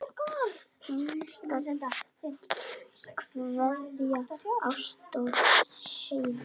Hinsta kveðja, Ásta og Heiðar.